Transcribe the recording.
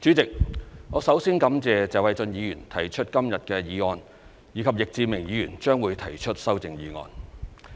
主席，我首先感謝謝偉俊議員提出今天的議案，以及易志明議員提出的修正案。